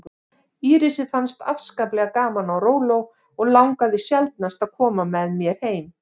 Írisi fannst afskaplega gaman á róló og langaði sjaldnast að koma með mér heim.